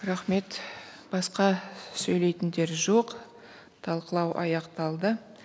рахмет басқа сөйлейтіндер жоқ талқылау аяқталды